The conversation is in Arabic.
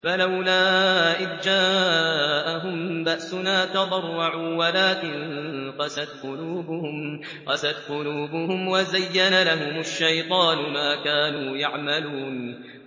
فَلَوْلَا إِذْ جَاءَهُم بَأْسُنَا تَضَرَّعُوا وَلَٰكِن قَسَتْ قُلُوبُهُمْ وَزَيَّنَ لَهُمُ الشَّيْطَانُ مَا كَانُوا يَعْمَلُونَ